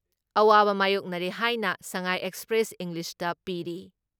ꯑꯋꯥꯕ ꯃꯥꯌꯣꯛꯅꯔꯦ ꯍꯥꯏꯅ ꯁꯉꯥꯏ ꯑꯦꯛꯁꯄ꯭ꯔꯦꯁ ꯏꯪꯂꯤꯁꯇ ꯄꯤꯔꯤ ꯫